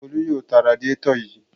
Folú yóò ta radiátọ̀ yìí.